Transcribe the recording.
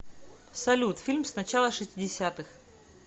салют фильм с начала шестидесятых